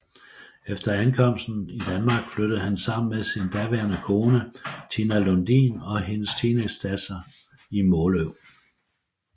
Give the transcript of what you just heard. Efter ankomsten i Danmark flyttede han sammen med sin daværende kone Tina Lundin og hendes teenagedatter i Måløv